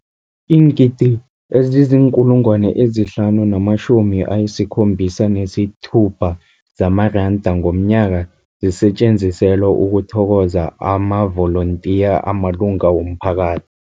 Iingidi ezima-576 zamaranda ngomnyaka zisetjenziselwa ukuthokoza amavolontiya amalunga womphaka